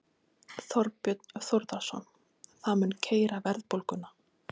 Þorbjörn Þórðarson: Það mun keyra verðbólguna?